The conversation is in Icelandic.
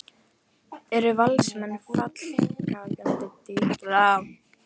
Eru Valsmenn fallkandídatar?